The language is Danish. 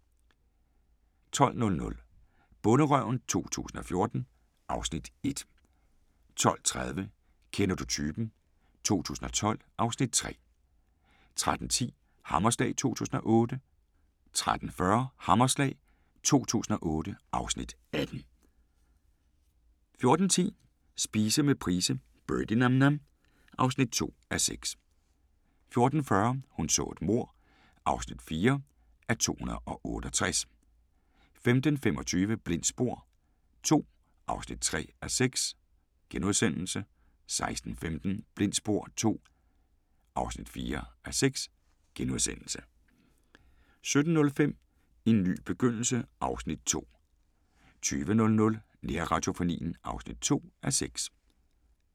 12:00: Bonderøven 2014 (Afs. 1) 12:30: Kender du typen? 2012 (Afs. 3) 13:10: Hammerslag 2008 13:40: Hammerslag 2008 (Afs. 18) 14:10: Spise med Price – Birdie Nam Nam (2:6) 14:40: Hun så et mord (4:268) 15:25: Blindt spor II (3:6)* 16:15: Blindt spor II (4:6)* 17:05: En ny begyndelse (Afs. 2) 20:00: Nærradiofonien (2:6)